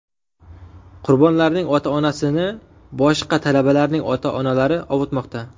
Qurbonlarning ota-onasini boshqa talabalarning ota-onalari ovutmoqda.